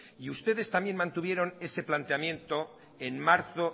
y ustedes también mantuvieron ese planteamiento en marzo